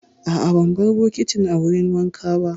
A'a, ban bar bokitin a wurin wanka ba.